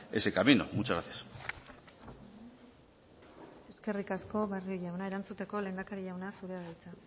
ese camino muchas gracias eskerrik asko barrio jauna erantzuteko lehendakari jauna zurea da hitza